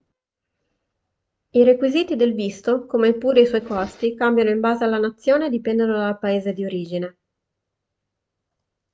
i requisiti del visto come pure i suoi costi cambiano in base alla nazione e dipendono dal paese di origine